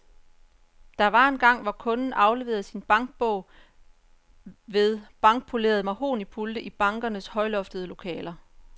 Der var engang, hvor kunden afleverede sin bankbog ved blankpolerede mahognipulte i bankernes højloftede lokaler.